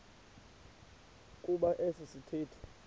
kuba esi sithethe